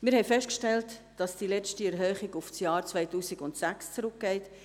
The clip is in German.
Wir haben festgestellt, dass die letzte Erhöhung auf das Jahr 2006 zurückgeht.